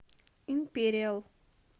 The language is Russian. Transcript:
империал